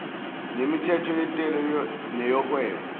nemithetho yentela neyohwebo